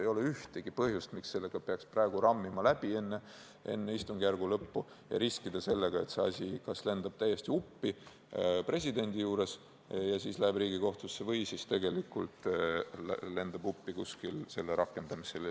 Ei ole ühtegi põhjust, miks peaks selle praegu enne istungjärgu lõppu läbi rammima ja riskima sellega, et see asi kas lendab täiesti uppi presidendi juures ja läheb Riigikohtusse või siis lendab uppi selle rakendamisel.